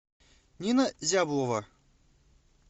нина зяблова